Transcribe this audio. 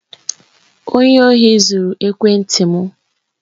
Onye ohi zuru ekwenti m.